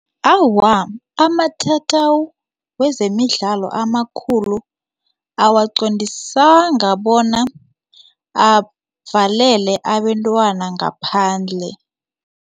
Awa, amatatawu wezemidlalo amakhulu awaqondisanga bona avelele abentwana ngaphandle.